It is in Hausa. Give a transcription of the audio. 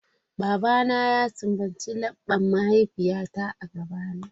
Babana ya sumbaci laɓɓan mahaifiyata a gabana.